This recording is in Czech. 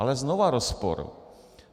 Ale znova rozpor.